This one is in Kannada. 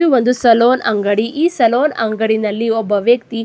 ಇದು ಒಂದು ಸೆಲೂನ್ ಅಂಗಡಿ ಈ ಸಲೂನ್ ಅಂಗಡಿಯಲ್ಲಿ ಒಬ್ಬ ವ್ಯಕ್ತಿ --